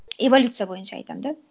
эволюция бойынша айтамын да